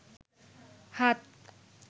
হাত